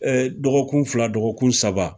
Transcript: dɔgɔkun fila dɔgɔkun saba